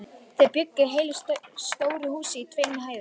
Þau bjuggu í heilu stóru húsi á tveimur hæðum.